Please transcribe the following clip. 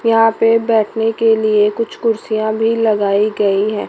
यहां पे बैठने के लिए कुछ कुर्सियां भी लगाई गई हैं।